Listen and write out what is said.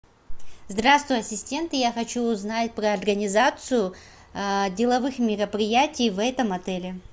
здравствуй ассистент я хочу узнать про организацию деловых мероприятий в этом отеле